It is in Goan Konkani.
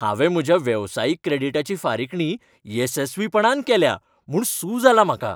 हांवें म्हज्या वेवसायीक क्रेडीटाची फारीकणी येसस्वीपणान केल्या म्हूण सू जालां म्हाका.